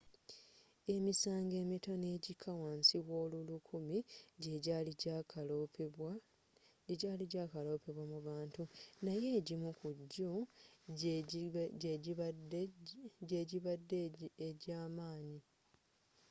emisango emitono egikka wa nsi w'olulukumi gyegyaali gyakalopwa mu bantu naye egimu kujjo gy'egibadde egy'amaanyi